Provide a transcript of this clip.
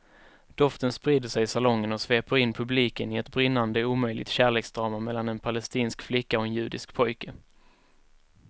Doften sprider sig i salongen och sveper in publiken i ett brinnande omöjligt kärleksdrama mellan en palestinsk flicka och en judisk pojke.